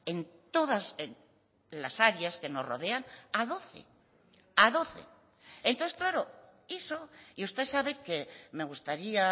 en todas las áreas que nos rodean a doce a doce entonces claro eso y usted sabe que me gustaría